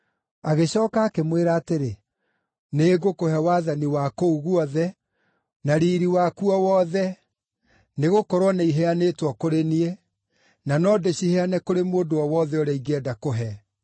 Agĩcooka akĩmwĩra atĩrĩ, “Nĩngũkũhe wathani wa kũu guothe na riiri wakuo wothe, nĩgũkorwo nĩiheanĩtwo kũrĩ niĩ, na no ndĩciheane kũrĩ mũndũ o wothe ũrĩa ingĩenda kũhe.